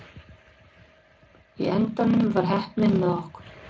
Í endanum var heppnin með okkur.